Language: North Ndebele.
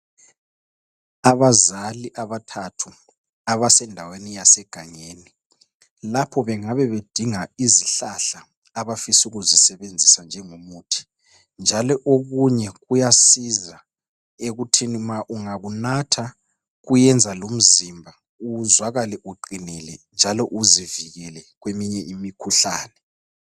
Abazali abathathu abasendaweni yasegangeni. Lapho bengabe bedinga izihlahla abafisa ukuzisebenzisa njengomuthi. Njalo okunye kuyasiza ekuthini ma ungakunatha, kuyenza lomzimba uzwakale uqinile njalo uzivikele kweminye imikhuhlane.